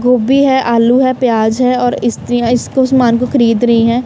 गोभी है आलू है प्याज है और स्त्री इसको समान को खरीद रही है।